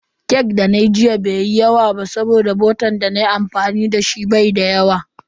Cake da nayi jiya bai yi yawa ba saboda botan dana yi amfani dashi bai da yawa.